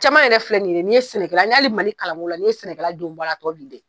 Caman yɛrɛ filɛ nin ye sɛnɛkɛla hali Mali kalan ko la ni ye sɛnɛkɛladenw bɔ a la, a bi dɛn